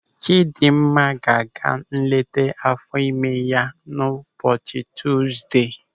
Chidimma ga-aga nleta áfọ̀ ime ya ụbọchị Tuzdee.